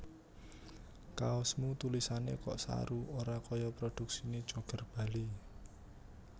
Kaosmu tulisane kok saru ora koyo produksine Joger Bali